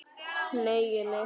Hneigi mig.